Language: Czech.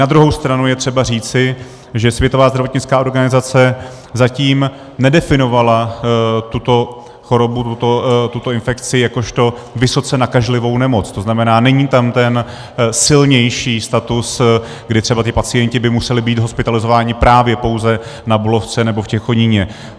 Na druhou stranu je třeba říci, že Světová zdravotnická organizace zatím nedefinovala tuto chorobu, tuto infekci, jakožto vysoce nakažlivou nemoc, to znamená, není tam ten silnější status, kdy třeba ti pacienti by museli být hospitalizováni právě pouze na Bulovce nebo v Těchoníně.